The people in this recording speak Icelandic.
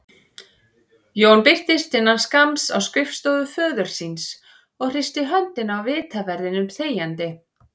Jón birtist innan skamms á skrifstofu föður síns og hristi höndina á vitaverðinum þegjandi.